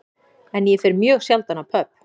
En ég fer mjög sjaldan á pöbb